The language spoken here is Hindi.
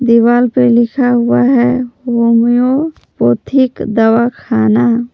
दीवाल पे लिखा हुआ है होम्योपैथिक दवा खाना।